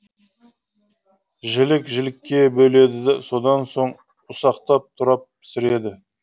жілік жілікке бөледі содан соң ұсақтап турап пісіреді